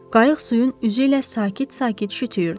Qayıq suyun üzü ilə sakit-sakit şütüyürdü.